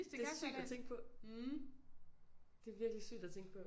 Det er sygt at tænke på det er virkelig sygt at tænke på